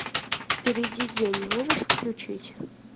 впереди день можешь включить